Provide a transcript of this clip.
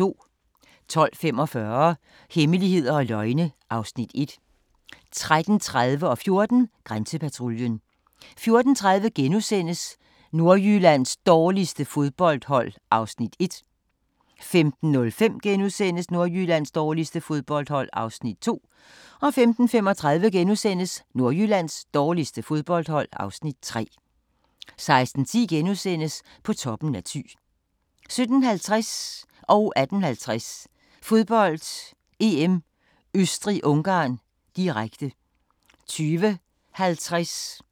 12:45: Hemmeligheder og løgne (Afs. 1) 13:30: Grænsepatruljen 14:00: Grænsepatruljen 14:30: Nordjyllands dårligste fodboldhold (Afs. 1)* 15:05: Nordjyllands dårligste fodboldhold (Afs. 2)* 15:35: Nordjyllands dårligste fodboldhold (Afs. 3)* 16:10: På toppen i Thy * 17:50: Fodbold: EM - Østrig-Ungarn, direkte 18:50: Fodbold: EM - Østrig-Ungarn, direkte 20:50: Fodbold: EM - Portugal-Island, direkte